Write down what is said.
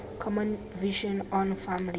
common vision on farm labour